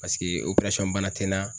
Paseke bana te n na.